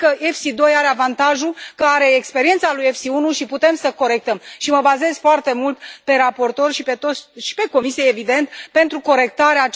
Cred că EFSI 2 are avantajul că are experiența lui EFSI 1 și putem să corectăm și mă bazez foarte mult pe raportori și pe Comisie, evident, pentru corectarea